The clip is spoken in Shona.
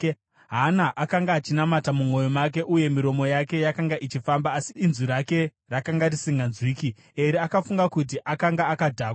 Hana akanga achinamata mumwoyo make uye miromo yake yakanga ichifamba asi inzwi rake rakanga risinganzwiki. Eri akafunga kuti akanga akadhakwa,